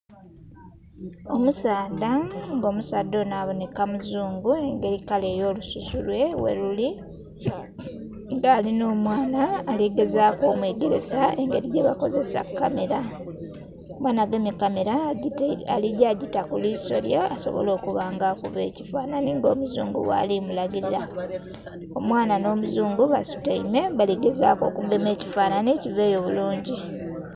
Omusaadha nga omusaadha onho abonheka mu zuungu nga ekala yo lususu lwe gheluli era alinha omwaana aligezaku omwegersa engeri yebakozesamu kamera, omwaana agemye kamera aligya gita ku liso lye asobole okuba nga akuba ekifanhanhi nga omuzungu bwali mulagila. Omwaana nho muzungu basutaime baligezaku okugema ekifanhanhi kiveeyo bulingi.